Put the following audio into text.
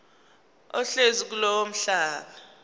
ohlezi kulowo mhlaba